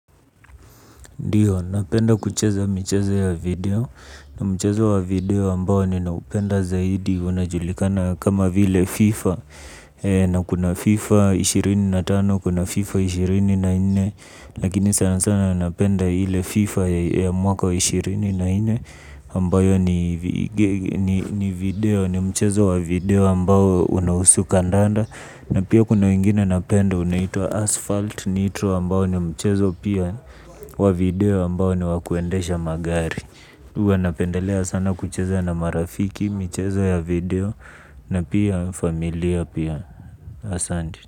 Ndio, napenda kucheza michezo wa video, mchezo wa video ambao ninaupenda zaidi unajulikana kama vile fifa na kuna fifa ishirini na tato kuna fifa ishirini na nne lakini sana sana napenda ile fifa ya mwaka wa ishirini na nne ambayo ni ni video ni mchezo wa video ambao unahusu kandanda. Na pia kuna wengine napenda unaitwa Asphalt Nitro ambao ni mchezo pia. Wa video ambao ni wakuendesha magari huwa napendelea sana kucheza na marafiki, mchezo ya video na pia familia pia. Asanti.